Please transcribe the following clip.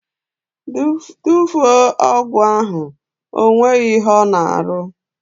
Tufuo ọgwụ ahụ! Ọ nweghị ihe ọ na arụ!